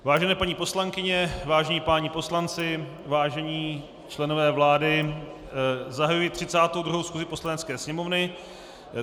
Vážené paní poslankyně, vážení páni poslanci, vážení členové vlády, zahajuji 32. schůzi Poslanecké sněmovny.